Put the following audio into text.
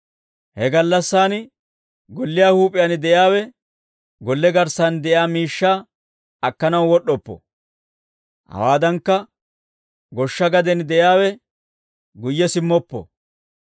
He gallassaan, golliyaa huup'iyaan de'iyaawe, golle garssan de'iyaa miishshaa akkanaw wod'd'oppo; hawaadankka goshsha gaden de'iyaawe, guyye simmoppo.